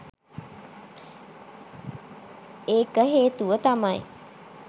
ඒක හේතුව තමයි